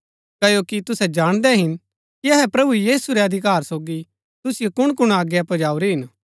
क्ओकि तुसै जाणदै हिन कि अहै प्रभु यीशु रै अधिकार सोगी तुसिओ कुणकुण आज्ञा पजाऊरी हिन